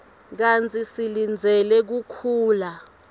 kantsi silindzele kukhula